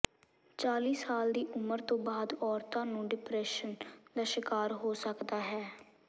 ਚਾਲੀ ਸਾਲ ਦੀ ਉਮਰ ਤੋਂ ਬਾਅਦ ਔਰਤਾਂ ਨੂੰ ਡਿਪਰੈਸ਼ਨ ਦਾ ਸ਼ਿਕਾਰ ਹੋ ਸਕਦਾ ਹੈ